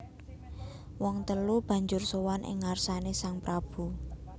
Wong telu banjur sowan ing ngarsané sang prabu